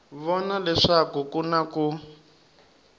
vona leswaku ku na ku